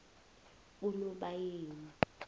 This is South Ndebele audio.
kunobayeni